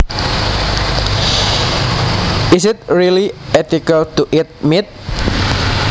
Is it really ethical to eat meat